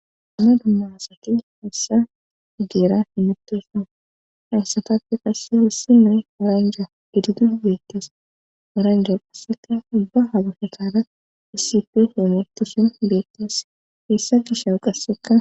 Amna dumma asaki heessa egeera hinmitosa haysatappe qasse hissi noe aranja hididu beettees aranja qasseka ubba habafekara isife hoometisin beettes heessa gishawu qasseka.